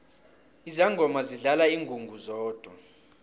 izangoma zidlala ingungu zodwa